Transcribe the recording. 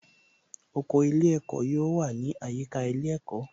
Oko ilé ẹ̀kọ́ yóò wà ní àyíká ilé ẹ̀kọ́